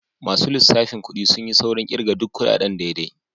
Masu lissafin kudi sun yi saurin kirga duk kudaden daidai.